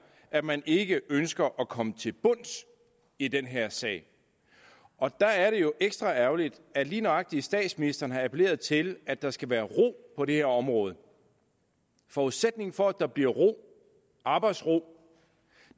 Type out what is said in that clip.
at man ikke ønsker at komme til bunds i den her sag og der er det jo ekstra ærgerligt at lige nøjagtig statsministeren har appelleret til at der skal være ro på det her område forudsætningen for at der bliver ro arbejdsro